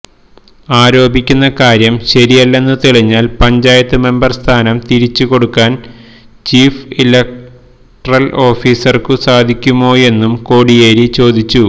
ആരോപിക്കുന്ന കാര്യം ശരിയല്ലയെന്നു തെളിഞ്ഞാല് പഞ്ചായത്ത് മെമ്പര് സ്ഥാനം തിരിച്ചുകൊടുക്കാന് ചീഫ് ഇലക്ടറല് ഓഫീസര്ക്കു സാധിക്കുമോയെന്നും കോടിയേരി ചോദിച്ചു